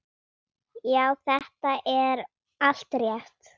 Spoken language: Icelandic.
Já, þetta er allt rétt.